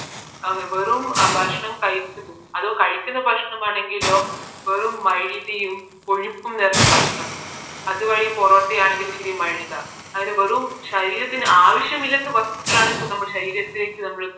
അതേ വെറും ഭക്ഷണം കഴിക്കും അതും കഴയികുന്ന ഭക്ഷണം ആണെങ്കിലോ വെറും മൈദയും കൊഴുപ്പും നിറഞ്ഞ ഭക്ഷണം അതുവഴി പൊറോട്ട ആണെങ്കിലും മൈദ അങ്ങനെ വെറും ശരീരത്തിന് ആവശ്യമില്ലാത്ത വാസ്തു